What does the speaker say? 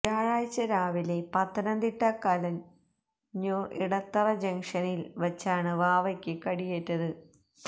വ്യാഴാഴ്ച രാവിലെ പത്തനംതിട്ട കലഞ്ഞൂർ ഇടത്തറ ജംഗ്ഷനിൽ വച്ചാണ് വാവയ്ക്ക് കടിയേറ്റത്